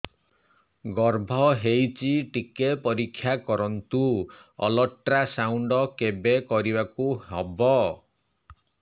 ଗର୍ଭ ହେଇଚି ଟିକେ ପରିକ୍ଷା କରନ୍ତୁ ଅଲଟ୍ରାସାଉଣ୍ଡ କେବେ କରିବାକୁ ହବ